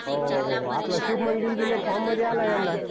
हो हो हो हो आपला शुभमं गिल बी लय फॉर्म मध्ये आलाय यंदा